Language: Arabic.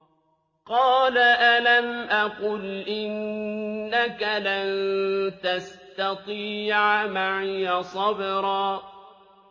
قَالَ أَلَمْ أَقُلْ إِنَّكَ لَن تَسْتَطِيعَ مَعِيَ صَبْرًا